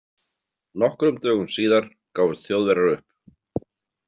Nokkrum dögum síðar gáfust Þjóðverjar upp.